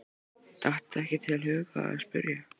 Datt ekki til hugar að spyrja.